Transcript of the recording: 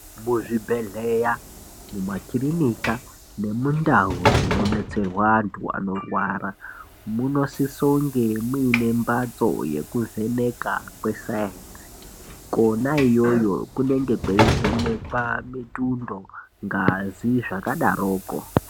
Muzvibhendleya, mumakirinika nemundau dzinobetserwa antu anorwara munosisa unge muine mbatso yekuvheneka kwesainzi kwona ikweyo kunenge kuchivhenekwa mitundo, ngazi zvakadaro kwo.